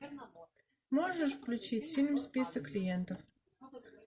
можешь включить фильм список клиентов